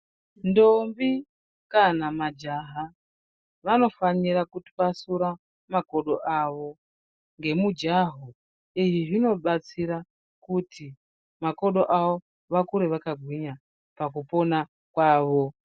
Ntombi kana majaha vanofanira kutwasura makodo avo ngemujaho , izvi zvinobatsira kuti makodo avo vakure vakagwinya pakupona kwavo.